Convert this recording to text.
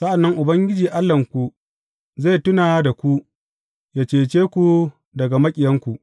Sa’an nan Ubangiji Allahnku zai tuna da ku, yă cece ku daga maƙiyanku.